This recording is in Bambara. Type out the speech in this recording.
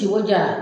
Ciko jara